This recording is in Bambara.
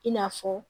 I n'a fɔ